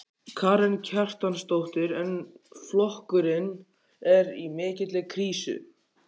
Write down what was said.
Karen Kjartansdóttir: En flokkurinn er í mikilli krísu?